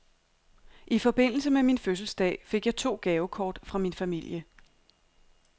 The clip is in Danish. I forbindelse med min fødselsdag fik jeg to gavekort fra min familie.